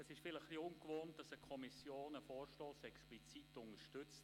Es ist vielleicht etwas ungewöhnlich, dass eine Kommission einen Vorstoss explizit unterstützt.